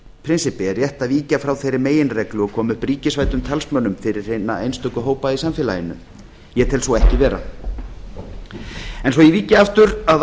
prinsippi er rétt að víkja frá þeirri meginreglu og koma upp ríkisvæddum talsmönnum fyrir hina einstöku hópa í samfélaginu ég tel svo ekki vera en svo ég víki aftur að